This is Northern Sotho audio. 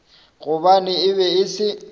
gobane e be e se